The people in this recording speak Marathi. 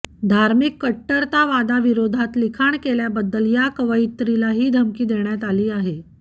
धार्मिक कट्टरतावादाविरोधात लिखाण केल्याबद्दल या कवयित्रीला ही धमकी देण्यात आली आहे